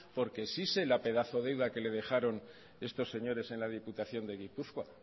porque sí sé la pedazo deuda que le dejaron estos señores en la diputación de gipuzkoa